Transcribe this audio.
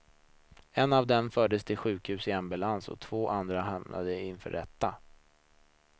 En av dem fördes till sjukhus i ambulans och två andra hamnade inför rätta.